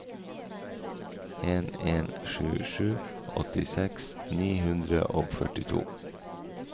en en sju sju åttiseks ni hundre og førtito